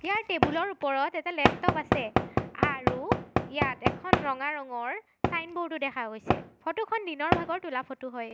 ইয়াৰ টেবুলৰ ওপৰত এটা লেপটপ আছে আৰু ইয়াত এখন ৰঙা ৰঙৰ চাইনব'ৰ্ড ও দেখা গৈছে ফটো খন দিনৰ ভাগত তোলা ফটো হয়।